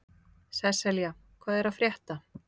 Sesselja, hvað er að frétta?